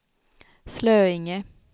Slöinge